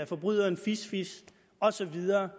forbryderen fisfis og så videre